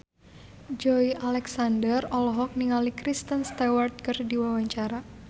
Joey Alexander olohok ningali Kristen Stewart keur diwawancara